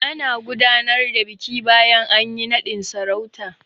Ana gudanar da biki bayan anyi naɗin sarauta.